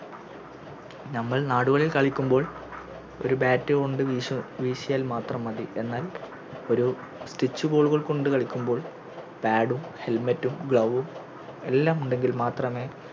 ഞമ്മൾ നാടുകളിൽ കളിക്കുമ്പോൾ ഒര് Bat കൊണ്ട് വീശ്‌ വീശിയാൽ മാത്രം മതി എന്നാൽ ഒര് Stitch ball കൾ കൊണ്ട് കളിക്കുമ്പോൾ Pad ഉം Helmet ഉം Glove ഉം എല്ലാമുണ്ടെങ്കിൽ മാത്രമേ